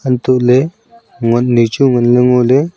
hantoh ley ngot nai chu ngan ley ngo ley.